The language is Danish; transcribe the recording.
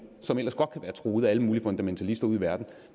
som ellers godt kan være truet af alle mulige fundamentalister ude i verden